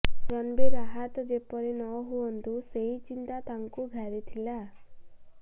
ରଣବୀର ଆହତ ଯେପରି ନହୁଅନ୍ତୁ ସେହି ଚିନ୍ତା ତାଙ୍କୁ ଘାରିଥିଲା